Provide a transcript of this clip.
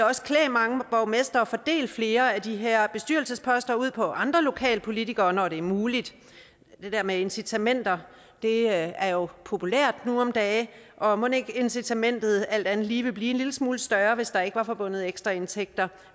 også klæde mange borgmestre at fordele flere af de her bestyrelsesposter ud på andre lokalpolitikere når det er muligt det der med incitamenter er jo populært nu om dage og mon ikke incitamentet alt andet lige ville blive en lille smule større hvis der ikke var forbundet ekstra indtægter